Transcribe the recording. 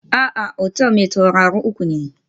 A'a, otal mai tauraro uku ne